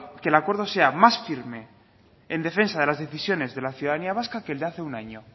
que el acuerdo sea más firme en defensa de las decisiones de la ciudadanía vasca que el de hace un año